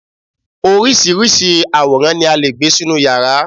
oríṣiríṣi àwòrán ni a lè gbé sínú yàrá